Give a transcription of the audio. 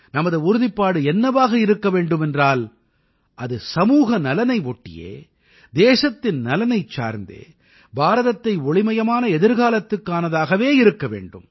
நமது உறுதிப்பாடு என்னவாக இருக்க வேண்டுமென்றால் அது சமூகநலனை ஒட்டியே தேசத்தின் நலனைச் சார்ந்தே பாரதத்தை ஒளிமயமான எதிர்காலத்திற்கானதாகவே இருக்க வேண்டும்